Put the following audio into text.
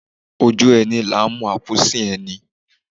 Ojú ẹni làá mọ àkúùsin ẹni